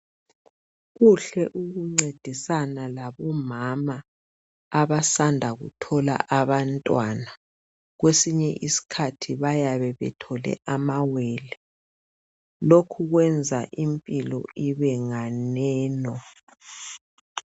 Kuhle ukuncedisana labomama abasanda kuthola abantwana kwesinye isikhathi bayabe bethole ama wele. Lokhu kwenza impilo ibe nganeno.